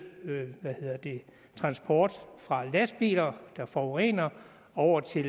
transport fra lastbiler der forurener over til